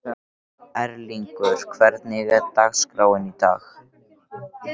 Erlingur, hvernig er dagskráin í dag?